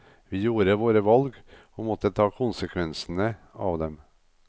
Vi gjorde våre valg, og måtte ta konsekvensene av dem.